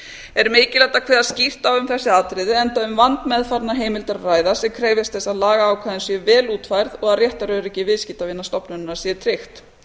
er mikilvægt að kveða skýrt á um þessi atriði enda um vandmeðfarnar heimild að ræða og krefjast þess að lagaákvæðin séu vel útfærð og að réttaröryggi viðskiptavina stofnunarinnar sé tryggt